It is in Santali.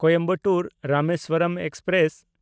ᱠᱳᱭᱮᱢᱵᱟᱴᱩᱨ–ᱨᱟᱢᱮᱥᱣᱚᱨᱚᱢ ᱮᱠᱥᱯᱨᱮᱥ